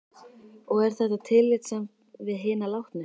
Og er þetta tillitssamt við hina látnu?